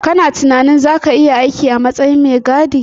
Kana tunanin zaka iya aiki a matsayin mai gadi